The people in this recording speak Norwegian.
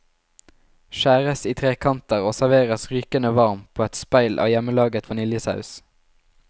Skjæres i trekanter og serveres rykende varm på et speil av hjemmelaget vaniljesaus.